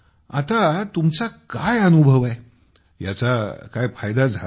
आता तुमचा अनुभव काय आहे याचा काय फायदा झाला आहे